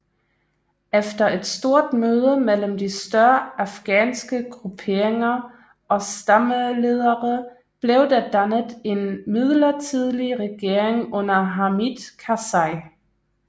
Efter et stort møde mellem de større afghanske grupperinger og stammeledere blev der dannet en midlertidig regering under Hamid Karzai